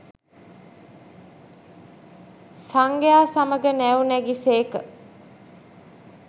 සංඝයා සමඟ නැව් නැගි සේක